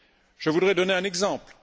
Je voudrais donner un exemple.